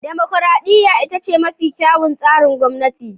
Dimokuradiyya ita ce mafi kyawun tsarin gwamnati.